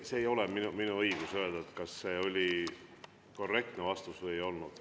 Ei ole minu õigus öelda, kas see oli korrektne vastus või ei olnud.